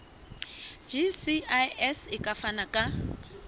gcis e ka fana ka